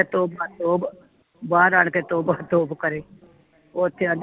ਤੋਬਾ ਤੋਬਾ ਬਾਹਰ ਆਣ ਕੇ ਤੋਬਾ ਤੋਬਾ ਕਰੇ ਓਥੇ ਆਂਦੀ